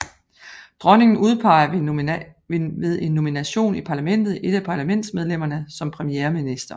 Dronningen udpeger ved en nomination i parlamentet et af parlamentsmedlemmerne som premierminister